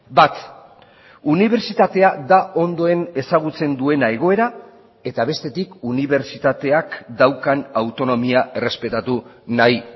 bat unibertsitatea da ondoen ezagutzen duena egoera eta bestetik unibertsitateak daukan autonomia errespetatu nahi